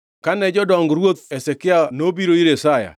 Kane jodong Ruoth Hezekia nobiro ir Isaya,